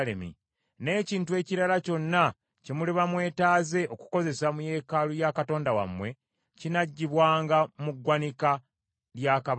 N’ekintu ekirala kyonna kye muliba mwetaaze okukozesa mu yeekaalu ya Katonda wammwe, kinaggyibwanga mu ggwanika lya kabaka.